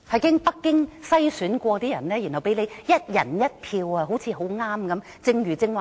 經北京篩選的人，才讓我們"一人一票"選出。